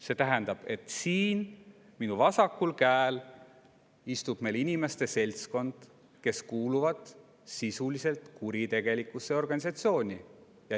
See tähendab, et siin minu vasakul käel istub meil seltskond inimesi, kes kuuluvad sisuliselt kuritegelikku organisatsiooni.